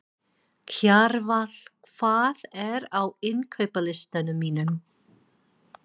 Kjarval, hvað er á innkaupalistanum mínum?